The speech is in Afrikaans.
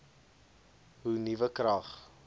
hoe nuwe krag